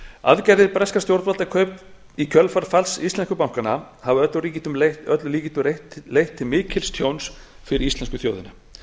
aðgerðir breskra stjórnvalda í kjölfar falls íslensku bankanna hafa að öllum líkindum leitt til mikils tjóns fyrir íslensku þjóðina